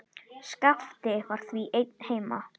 Skapti var því einn heima.